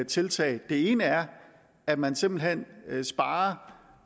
tiltag det ene er at man simpelt hen sparer